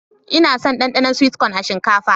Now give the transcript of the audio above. Ina son Danɗanon "sweet corn" a shinkafa.